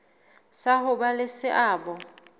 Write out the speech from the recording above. sa ho ba le seabo